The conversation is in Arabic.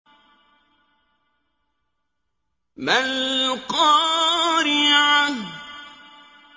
مَا الْقَارِعَةُ